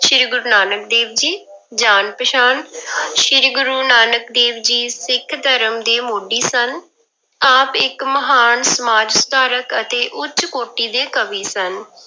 ਸ੍ਰੀ ਗੁਰੂ ਨਾਨਕ ਦੇਵ ਜੀ, ਜਾਣ ਪਛਾਣ ਸ੍ਰੀ ਗੁਰੂ ਨਾਨਕ ਦੇਵ ਜੀ ਸਿੱਖ ਧਰਮ ਦੇ ਮੋਢੀ ਸਨ, ਆਪ ਇੱਕ ਮਹਾਨ ਸਮਾਜ ਸੁਧਾਰਕ ਅਤੇ ਉੱਚ ਕੋਟੀ ਦੇ ਕਵੀ ਸਨ।